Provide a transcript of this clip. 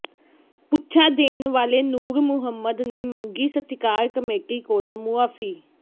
ਪੁੱਛਾਂ ਦੇਣ ਵਾਲੇ ਨੂਰ ਮੁਹੰਮਦ ਨੇ ਮੰਗੀ ਸਤਿਕਾਰ ਕਮੇਟੀ ਕੋਲੋਂ ਮੁਆਫ਼ੀ